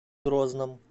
грозном